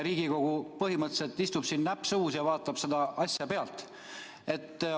Riigikogu põhimõtteliselt istub siin näpp suus ja vaatab kogu seda asja pealt.